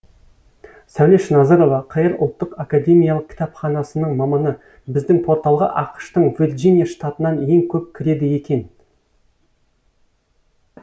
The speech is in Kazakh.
сәулеш назырова қр ұлттық академиялық кітапханасының маманы біздің порталға ақш тың вирджиния штатынан ең көп кіреді екен